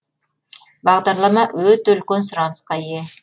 бағдарлама өте үлкен сұранысқа ие